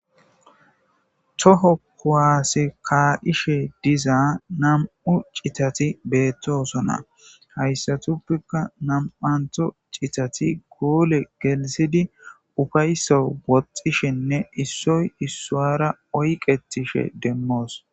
To kuwase kaishe deiza namu citati betosona hayisatuppekka naamatha citati gole geliththidi upayisawu woththishshene issoyi isara oyiqetishe demosi